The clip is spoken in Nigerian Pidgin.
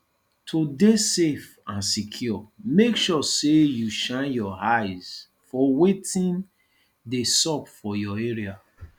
to de safe and secured make sure say you shine your eyes for wetin de sup for your area